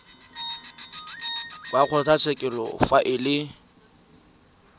wa kgotlatshekelo fa e le